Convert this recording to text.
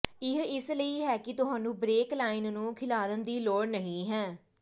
ਇਹ ਇਸ ਲਈ ਹੈ ਕਿ ਤੁਹਾਨੂੰ ਬਰੇਕ ਲਾਈਨ ਨੂੰ ਖਿਲਾਰਨ ਦੀ ਲੋੜ ਨਹੀਂ ਹੈ